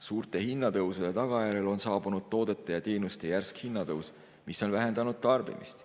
Suurte hinnatõusude tagajärjel on saabunud toodete ja teenuste hinna järsk tõus, mis on vähendanud tarbimist.